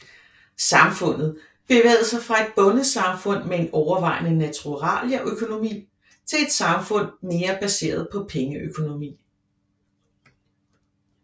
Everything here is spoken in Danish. Samfundet bevægede sig fra et bondesamfund med en overvejende naturalieøkonomi til et samfund mere baseret på pengeøkonomi